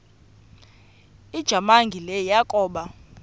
ujamangi le yakoba